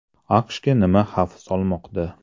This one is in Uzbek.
AQShga nima xavf solmoqda?